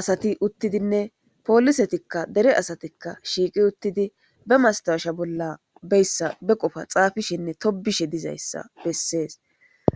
asati uttidinne poolisetikka dere asatikka shiiqi uttidi be mastasha bolla beyssa be qofa xaafishinne tobishe dizayssa bessees